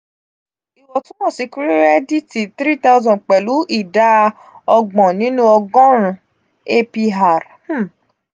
iwọntunwọnsi kirẹdiiti um three thousand pẹlu ida ọgbọ̀n ninu ọgọrun apr um